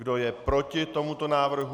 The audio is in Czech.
Kdo je proti tomuto návrhu?